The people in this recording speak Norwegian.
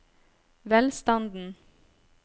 velstanden